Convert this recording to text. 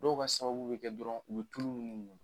Dɔw ka sababu bɛ kɛ dɔrɔn u bɛ tulu min mun.